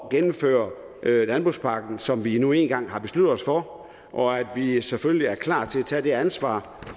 at gennemføre landbrugspakken som vi nu en gang har besluttet os for og at vi selvfølgelig er klar til at tage det ansvar